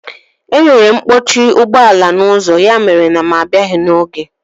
E nwere mkpọchi ụgbọala n'ụzọ ya mere na mụ abịaghị n'oge